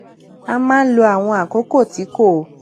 ó máa ń lo àwọn àkókò tí kò